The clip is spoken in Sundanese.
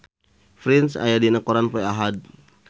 Prince aya dina koran poe Ahad